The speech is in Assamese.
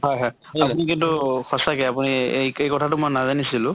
হয় হয়। আপুনি কিন্তু সঁচাকে আপুনি এই কথাটো মই নাজানিছিলো